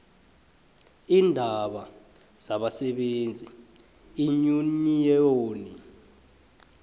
iindaba zabasebenzi iinyuniyoni